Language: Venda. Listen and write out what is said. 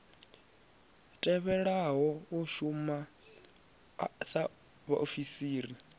tevhelaho u shuma sa vhaofisiri